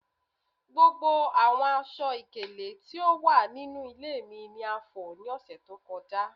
Gbogbo awọn aṣọ-ikele ti o wa ninu ile mi ni a fọ ​​ni ọsẹ to kọja